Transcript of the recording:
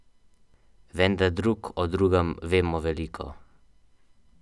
Vendar drug o drugem vemo veliko.